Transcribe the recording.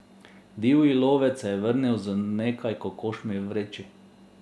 Divji lovec se je vrnil z nekaj kokošmi v vreči.